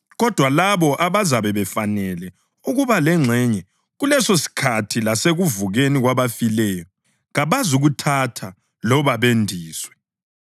Kodwa labo abazabe befanele ukuba lengxenye kulesosikhathi lasekuvukeni kwabafileyo kabazukuthatha loba bendiswe,